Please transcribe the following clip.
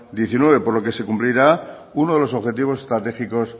dos mil diecinueve por lo que se cumplirá uno de los objetivos estratégicos